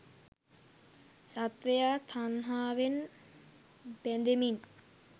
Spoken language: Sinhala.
සත්වයා තණ්හාවෙන් බැඳෙමින්